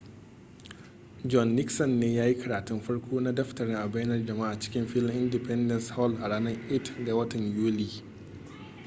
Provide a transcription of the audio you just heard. john nixon ne ya yi karatun farko na daftarin a bainar jama'a cikin filin independence hall a ranar 8 ga watan yuli